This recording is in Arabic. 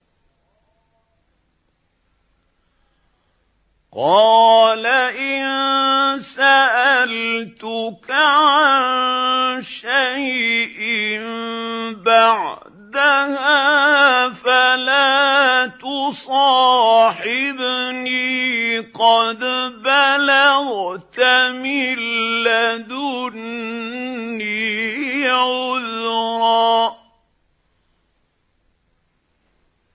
قَالَ إِن سَأَلْتُكَ عَن شَيْءٍ بَعْدَهَا فَلَا تُصَاحِبْنِي ۖ قَدْ بَلَغْتَ مِن لَّدُنِّي عُذْرًا